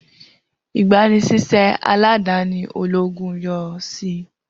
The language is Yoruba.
igbanisiṣẹ aladani ologun yoo ṣii